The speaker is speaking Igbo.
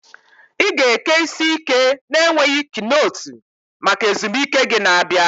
Ị ga-eke isi ike na-enweghị knotu maka ezumike gị na-abịa.